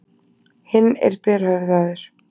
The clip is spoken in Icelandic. Hinn er berhöfðaður.